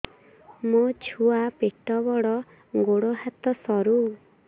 ମୋ ଛୁଆ ପେଟ ବଡ଼ ଗୋଡ଼ ହାତ ସରୁ